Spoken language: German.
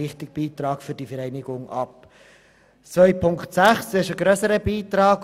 Unter Massnahme 44.2.6 geht es um einen grösseren Beitrag.